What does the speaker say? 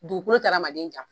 Dugukolo tɛ adamaden janfa.